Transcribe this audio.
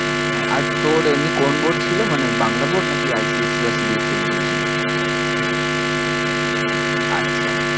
হ্যাঁ আর তোর এমনি কোন board ছিল মানে বাংলা board নাকি I. C. S. E. বা C. B. S. E. এ রকম কিছু ছিল আচ্ছা